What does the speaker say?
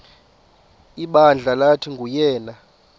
ibandla lathi nguyena